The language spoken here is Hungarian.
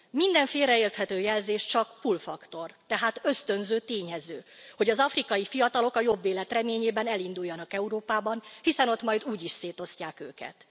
Minden félreérthető jelzés csak pull faktor, tehát ösztönző tényező, hogy az afrikai fiatalok a jobb élet reményében elinduljanak Európába, hiszen ott majd úgyis szétosztják őket.